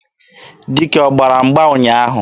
Dike ọ gbara mgba ụnyaahụ?